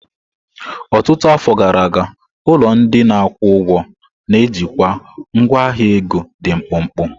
Ọtụtụ afọ gara aga, ụlọ ndị na-akwụ ụgwọ na-ejikwa ngwa ahịa ego dị mkpụmkpụ.